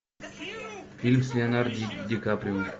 фильм с леонардо ди каприо